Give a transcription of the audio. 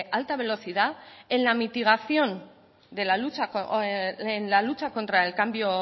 alta velocidad en la mitigación en la lucha contra el cambio